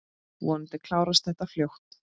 Vonandi klárast þetta fljótt.